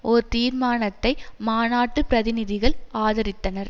ஒரு தீர்மானத்தை மாநாட்டு பிரதிநிதிகள் ஆதரித்தனர்